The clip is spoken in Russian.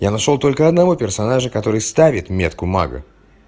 я нашёл только одного персонажа который ставит метку мага